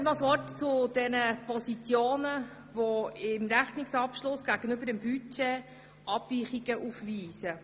Noch ein Wort zu den Positionen, die im Rechnungsabschluss gegenüber dem Budget Abweichungen aufweisen: